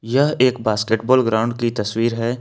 यह एक basketball ground की तस्वीर है।